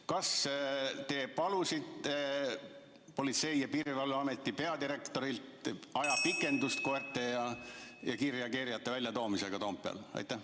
Kas te palusite Politsei- ja Piirivalveameti peadirektorilt ajapikendust koerte ja kiirreageerijate väljatoomiseks Toompeale?